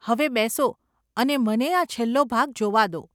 હવે બેસો અને મને આ છેલ્લો ભાગ જોવા દો.